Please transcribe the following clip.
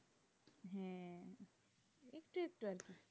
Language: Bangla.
সে একটু আধটু